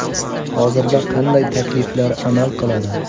Hozirda qanday takliflar amal qiladi?